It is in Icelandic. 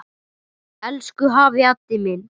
Elsku afi Haddi minn.